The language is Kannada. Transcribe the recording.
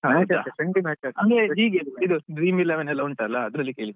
ಇಲ್ವಾ ಅಂದ್ರೆ ಹೀಗೆ Dream Eleven ಎಲ್ಲ ಉಂಟಲ್ಲ ಅದ್ರಲ್ಲಿ ಕೇಳಿದ್ದು.